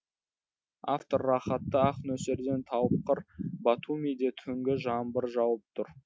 автор рахатты ақ нөсерден тауып қыр батумиде түнгі жаңбыр жауып тұр